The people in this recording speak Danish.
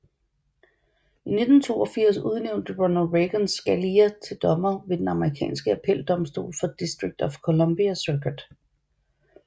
I 1982 udnævnte præsident Ronald Reagan Scalia til dommer ved den amerikanske appeldomstol for District of Columbia Circuit